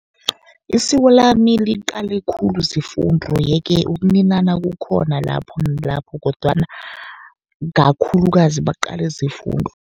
Isiko lami liqale khulu zefundo. Ye-ke ukuninana kukhona lapho nalapho kodwana kakhulukazi baqale zefundo.